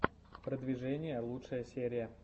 продвижение лучшая серия